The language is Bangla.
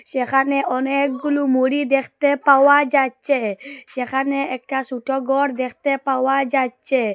যেখানে অনেকগুলু মুড়ি দেখতে পাওয়া যাচ্চে সেখানে একটা সোট ঘর দেখতে পাওয়া যাচ্চে ।